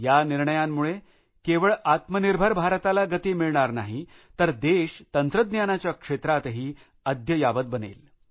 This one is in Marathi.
या निर्णयांमुळे केवळ आत्मनिर्भर भारताला गती मिळणार नाही तर देश तंत्रज्ञानाच्या क्षेत्रातही अद्ययावत बनेल